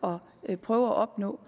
og prøve at opnå